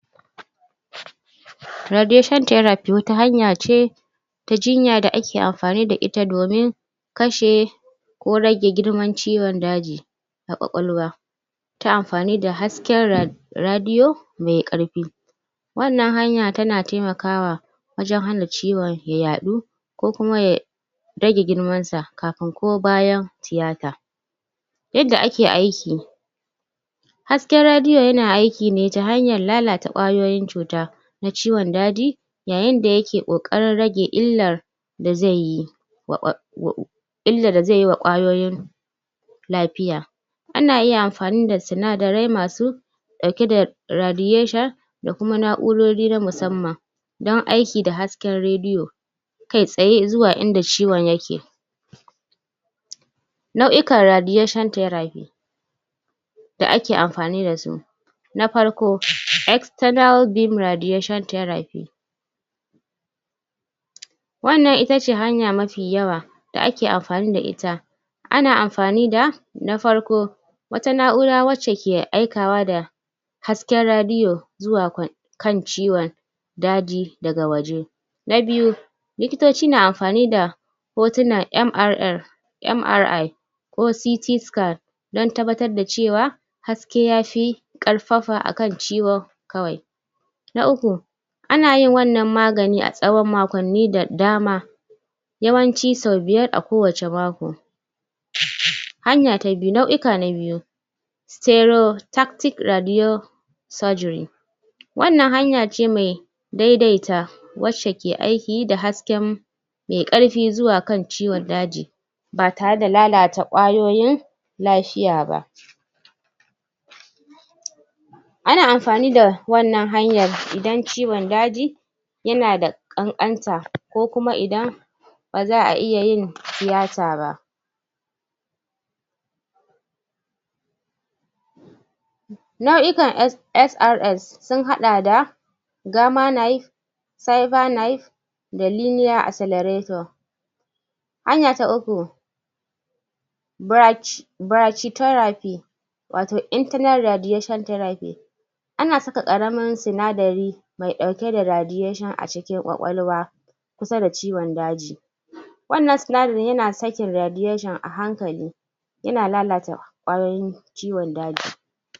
Radiation Therapy wata hanya ce ta jinya da ake amfani da ita domin kashe ko rage girman ciwon daji ƙwaƙwalwa. ta amfani da hasken Radio mai ƙarfi. wannan hanya tana taimakawa wajen hana ciwon ya yaɗu, ko kuma ya rage girmansa kafin ko bayan tiyata yadda ake aiki. Hasken radio yana aiki ne ta hanyar lalata ƙwayoyin cuta na ciwon daji yayin yake ƙoƙarin rage illar da zai yi wa illar da zai yi wa ƙwayoyin lafiya, Na iya yin amfani da sinadari masu ɗauke da radiation da kuma na'urori na musamman don aiki da hasken radio kai tsaye zuwa inda ciwon yake Nau'ikan radiation theraphy da ake amfani da su na farko external beam radiation theraphy wannan ita ce hanya mafi yawa da ake amfani da ita. ana amfani da na farko wata na'ura wadda ke aikawa da hasken radio zuwa kan ciwon. daji daga waje. Na biyu, likitoci na amfani da hotunan MRI OCT Scan don tabbatar da cewar haske ya fi ƙarfafa a kan ciwon kawai. Na uku ana yin wannan magani a tsawon makonni da dama. Yawanci sau biyar a kowane mako Hanya ta biyu, nau'ika na biyu. StereoTactic RadioSurgery wannan hanya ce mai daidaita wacce ke aiki da hasken mai ƙarfi zuwa kan ciwon daji ba tare da lalata ƙwayoyin lafiya ba. Ana amfani da wannan hanyar idan ciwon daji yana da ƙanƙanta ko kuma idan ba za a iya yin tiyata ba. Nau'ikan SRS sun haɗa da Gama knife Cyber Knife da Linear Accelarator Hanya ta uku BrachyTherapy wato internal radiation therapy ana saka ƙaramin sinadari mai ɗauke da radiation a cikin ƙwaƙwalwa kusa da ciwon daji wannan sinadari yana sakin radiation a hankali yana lalata ƙwayoyin ciwon daji.